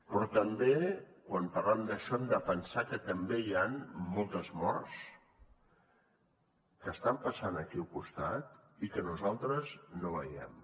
però també quan parlem d’això hem de pensar que també hi han moltes morts que estan passant aquí al costat i que nosaltres no veiem